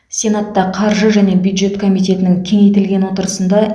сенатта қаржы және бюджет комитетінің кеңейтілген отырысында